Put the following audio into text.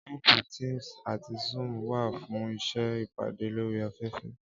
Áàpù Teams àti Zoom wà fún ṣíṣe ìpàdé lórí afẹ́fẹ́